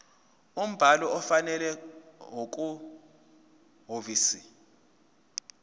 umbhalo ofanele okusehhovisi